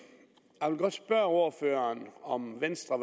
jeg vil godt spørge ordføreren om venstre